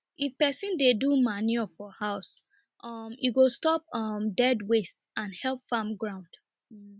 if person dey do manure for house um e go stop um dirt waste and help farm ground um